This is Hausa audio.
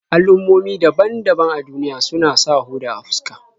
Al'ummomi daban-daban a duniya suna sa hoda a fuska.